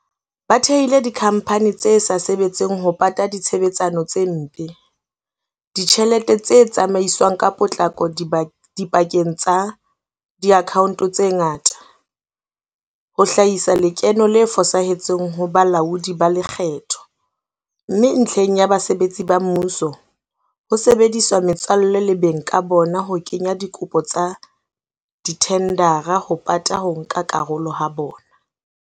Ba thehile dikhamphani tse sa sebetseng ho pata ditshebetsano tse mpe, ditjhelete tse tsamaiswang ka potlako dipakeng tsa diakhaonto tse ngata, ho hlahisa lekeno le fosahetseng ho balaodi ba lekgetho, mme ntlheng ya basebetsi ba mmuso, ho sebedisa metswalle le beng ka bona ho kenya dikopo tsa dithendara ho pata ho nka karolo ha bona.